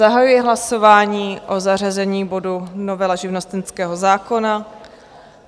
Zahajuji hlasování o zařazení bodu Novela živnostenského zákona.